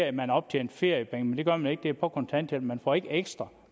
at man optjente feriepenge men det gør man ikke det er på kontanthjælp man får ikke ekstra